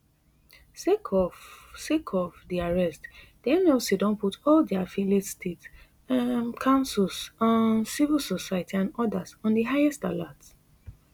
sake of sake of di arrest di nlc don put all dia affiliates state um councils um civil society and odas on di highest alert